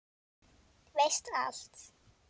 Veist allt.